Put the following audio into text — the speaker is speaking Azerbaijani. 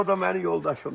O da mənim yoldaşımdır.